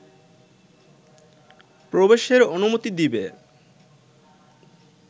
প্রবেশের অনুমতি দিবে